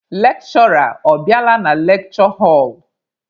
Lekshụra ọ bịala na lekshure họlụ?